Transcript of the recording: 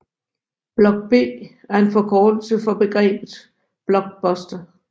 Block B er en forkortelse af begrebet Blockbuster